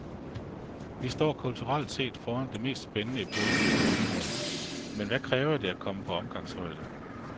Vi står kulturelt set foran den mest spændende epoke i århundreder, men hvad kræver det at komme på omgangshøjde?